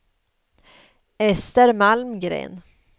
Ester Malmgren